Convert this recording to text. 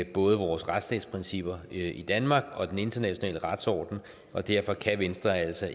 både vores retsstatsprincipper i danmark og den internationale retsorden og derfor kan venstre altså